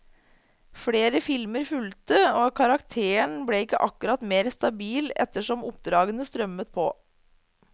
Flere filmer fulgte, og karakteren ble ikke akkurat mer stabil etter som oppdragene strømmet på.